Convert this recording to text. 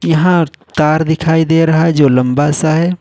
यहां कार दिखाई दे रहा है जो लंबा सा है।